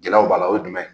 Jalaw b'a la o ye jumɛn ye